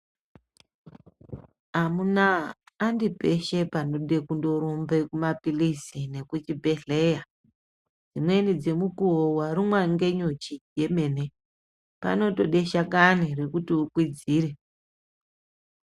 Amunaa andi peshe panode kundorumbe kumaphilizi nekuchibhehleya, dzimweni dzemukuwo warumwe ngenyuchi yemene, panotode shakani rekuti ukwidzire.